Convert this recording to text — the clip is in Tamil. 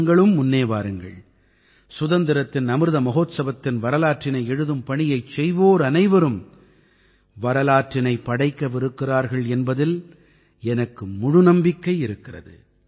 நீங்களும் முன்னே வாருங்கள் சுதந்திரத்தின் அமிர்ந்த மஹோத்சவத்தின் வரலாற்றினை எழுதும் பணியைச் செய்வோர் அனைவரும் வரலாற்றினைப் படைக்கவிருக்கிறார்கள் என்பதில் எனக்கு முழு நம்பிக்கை இருக்கிறது